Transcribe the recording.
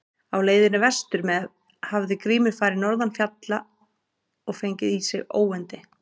Á leiðinni vestur með hafði Grímur farið norðan fjalla og fengið í sig óyndi.